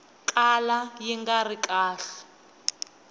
kala yi nga ri kahle